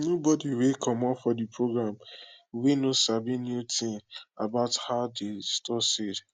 nobody wey comot for de program wey no sabi new thing about how to dey store seed